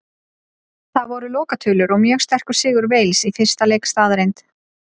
Það voru lokatölur og mjög sterkur sigur Wales í fyrsta leik staðreynd.